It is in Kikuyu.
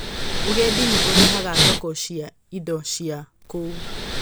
Ũgendi nĩ ũrehaga thoko cia indo cia kũu.